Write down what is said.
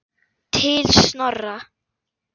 Til Snorra.